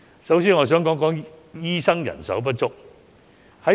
首先，我想談談醫生人手不足的問題。